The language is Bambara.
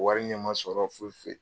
Wari ɲɛ man sɔrɔ foyi foyi.